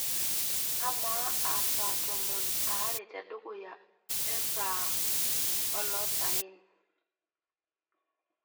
amaa aa saa tomon aare tedukuya ee saa ee olosayen